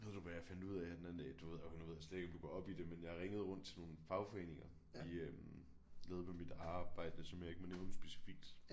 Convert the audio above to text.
Ved du hvad jeg fandt ud af her den anden dag du ved og nu ved jeg slet ikke om du går op i det men jeg ringede rundt til nogle fagforeninger i øh noget med mit arbejde som jeg ikke må nævne specifikt